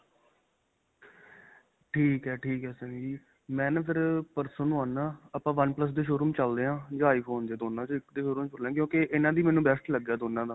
ਠੀਕ ਹੈ. ਠੀਕ ਹੈ. ਸੰਨੀ ਜੀ ਮੈਂ ਨਾਂ ਫ਼ਿਰ ਪਰਸੋੰ ਨੂੰ ਆਉਣਾ ਆਪਾਂ ਫਿਰ one plus ਦੇ showroom ਚਲਦੇ ਹਾਂ, ਜਾਂ iphone ਦੇ ਦੋਨਾਂ 'ਚੋਂ ਇੱਕ ਦੇ ਕਿਉਂਕਿ ਇਨ੍ਹਾਂ ਦਾ ਮੈਨੂੰ best ਲਗਿਆ ਦੋਨਾਂ ਦਾ.